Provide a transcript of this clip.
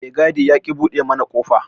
Me gadi yaƙi buɗe mana kofa.